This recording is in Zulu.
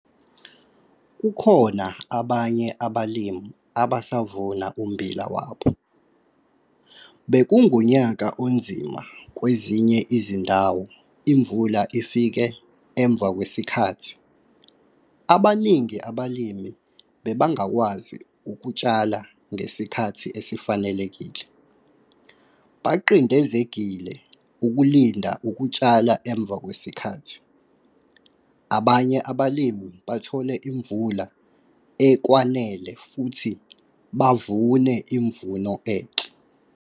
Kukhona abanye abalimi abasavuna ummbila wabo. Bekungunyaka onzima - kwezinye izindawo imvula ifike emva kwesikhathi, abaningi abalimi bebangakwazi ukutshala ngesikhathi esifanelekile, baqindezegile ukulinda ukutshala emva kwesikhathi. Abanye abalimi bathole imvula ekwanele futhi bavune imvuno enhle.